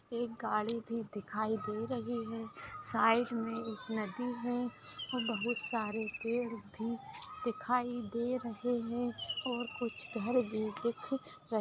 एक गाड़ी भी दिखाई दे रही है साइड में एक नदी है बहुत सारे पेड़ भी दिखाई दे रहे है और कुछ घर भी --